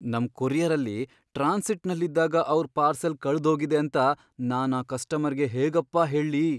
ನಮ್ ಕೊರಿಯರಲ್ಲಿ ಟ್ರಾನ್ಸಿಟ್ನಲ್ಲಿದ್ದಾಗ ಅವ್ರ್ ಪಾರ್ಸೆಲ್ ಕಳ್ದ್ಹೋಗಿದೇಂತ ನಾನ್ ಆ ಕಸ್ಟಮರ್ಗೆ ಹೇಗಪ್ಪಾ ಹೇಳ್ಲಿ.